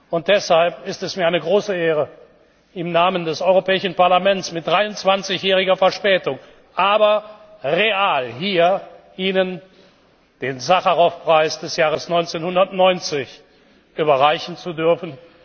Und deshalb ist es mir eine große Ehre, im Namen des Europäischen Parlaments mit 23 jähriger Verspätung, aber real, hier Ihnen den Sacharowpreis des Jahres 1990 überreichen zu dürfen.